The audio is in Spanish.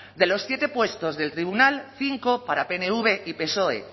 de los siete puestos del tribunal cinco para pnv y psoe